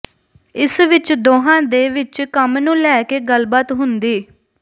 ਇਸ ਵਿੱਚ ਦੋਹਾਂ ਦੇ ਵਿੱਚ ਕੰਮ ਨੂੰ ਲੈ ਕੇ ਗੱਲਬਾਤ ਹੁੰਦੀ